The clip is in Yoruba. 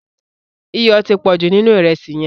Iyọ̀ ti pọ̀jù nínú ìrẹsì yẹn.